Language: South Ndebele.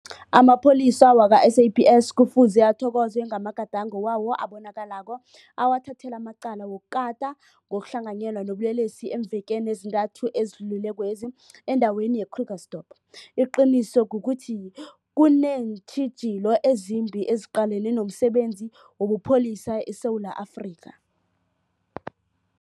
AmaPholisa wakwa-SAPS kufuze athokozwe ngamagadango wawo abonakalako awathathele amacala wokukata ngokuhlanganyela nobulelesi eemvekeni ezintathu ezidlulilekwezi endaweni ye-Krugersdorp. Iqiniso kukuthi kuneentjhi jilo ezimbi eziqalene nomsebenzi wobupholisa eSewula Afrika.